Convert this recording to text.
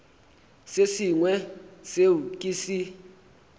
se sengwe seo ke se